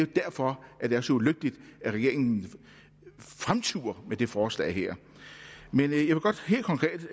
derfor det er så ulykkeligt at regeringen fremturer med det forslag her men jeg